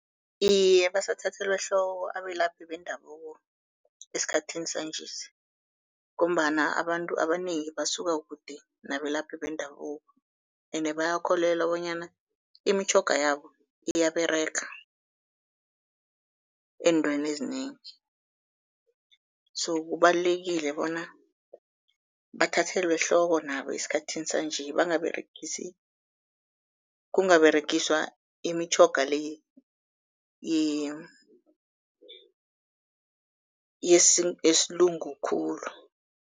Iye, basathathelwa ehloko abelaphi bendabuko esikhathini sanjesi, ngombana abantu abanengi basuka kude nabelaphi bendabuko ene bayakholelwa bonyana imitjhoga yabo iyaberega ezintweni ezinengi. So kubalulekile bona bathathelwe ehloko nabo esikhathini sanje bangaberegisi, kungaberegiswa imitjhoga le yesilungu khulu.